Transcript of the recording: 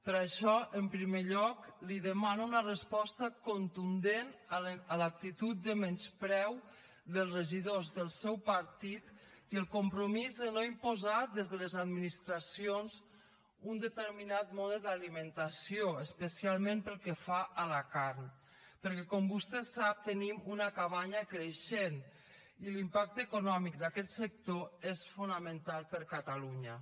per això en primer lloc li demano una resposta contundent a l’actitud de menyspreu dels regidors del seu partit i el compromís de no imposar des de les administracions un determinat mode d’alimentació especialment pel que fa a la carn perquè com vostè sap tenim una cabanya creixent i l’impacte econòmic d’aquest sector és fonamental per a catalunya